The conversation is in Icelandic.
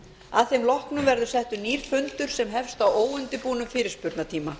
að þeim loknum verður settur nýr fundur sem hefst á óundirbúnum fyrirspurnatíma